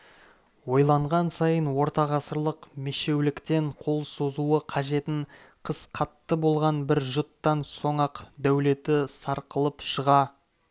ойланған сайын ортағасырлық мешеуліктен қол созуы қажетін қыс қатты болған бір жұттан соң-ақ дәулеті сарқылып шыға